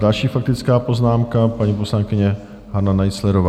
Další faktická poznámka - paní poslankyně Hana Naiclerová.